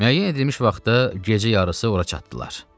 Müəyyən edilmiş vaxtda gecə yarısı ora çatdılar.